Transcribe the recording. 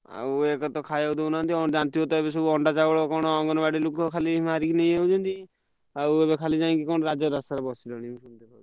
ଆଉ ଏବେ ତ ଖାଇବାକୁ ଦଉନାହାନ୍ତି ଏବେତ ଯାଣିଥିବ ଅଣ୍ଡା କଣ ଅଙ୍ଗନବାଡି ଲୋକ ଖାଲି ମାରିକି ନେଇଯାଉଛନ୍ତି ଆଉ ଏବେ ଯାଇକି କଣ ଯାଇକି ରାଜରାସ୍ତାରେ ବସିଲେଣି। ।